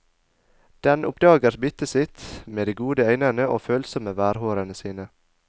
Den oppdager byttet sitt med de gode øynene og følsomme værhårene sine.